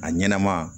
A ɲɛnɛma